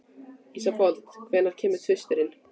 Ísfold, hvenær kemur tvisturinn?